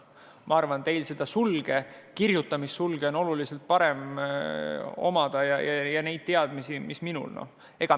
Ma arvan, teil seda sulge, kirjutamissulge on oluliselt kergem kasutada kui minul, ja neid teadmisi kasutada ka.